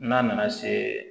N'a nana se